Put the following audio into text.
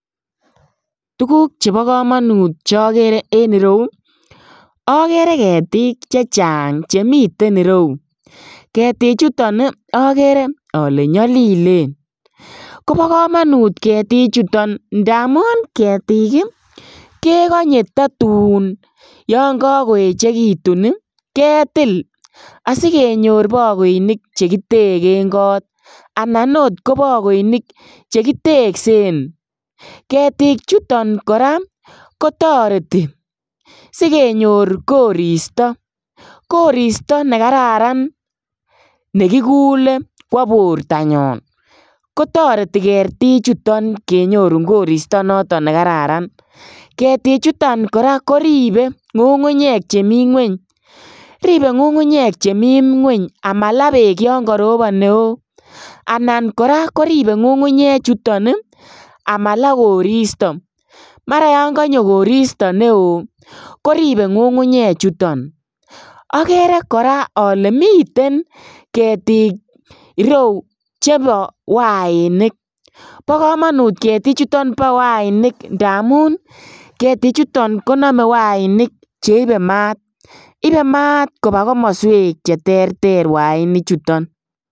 Tuguk chebo komonut chokere en ireu, okere ketik chechang chemiten ireu, ketichuton okere ole nyolilen ketichuton kobo komonut ketichuton ndamun ketik ii kekonye tatun yon kokoechekitun ii ketil asikenyor bokoinik chekitegen kot , anan oot kobokoinik chekiteksen, ketichuton koraa kotoreti sikenyor koristo , koristo nekararan nekikule kwo bortanyon kotoreti ketichuton kenyorun koristo noton nekararan, ketichuton koraa koribe ngungunyek chemi ngweny, ribe ngungunyek chemi ngweny amalaa beek yon korobon neo, anan koraa koribe ngungunyechuton ii amalaa koristo, mara yon konyo koristo neo koribe ngungunyechuton, okeree koraa ole miten ketik ireu chebo wainik bokomonut ketichuton bo wainik ndamun ketichuton konome wainik cheibe maat ibe maat kobaa komoswek cheterter wainichuton.